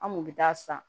An kun bɛ taa san